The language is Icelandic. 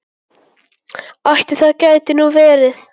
Ætli það geti nú verið.